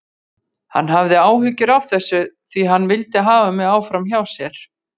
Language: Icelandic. Hann hafði áhyggjur af þessu því hann vildi hafa mig áfram hjá sér.